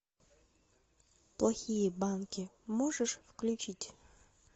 плохие банки можешь включить